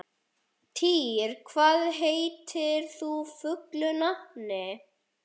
Týr, hvað heitir þú fullu nafni?